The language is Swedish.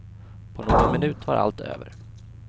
På någon minut var allt över.